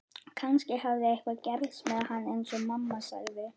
Kannski hafði eitthvað gerst með hann eins og mamma sagði.